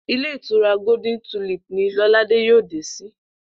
Ilé ìtura Golden Tulip ní Ló̩ládé yóò dé sí